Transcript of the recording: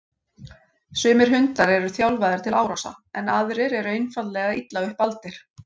Sumir hundar eru þjálfaðir til árása en aðrir eru einfaldlega illa upp aldir.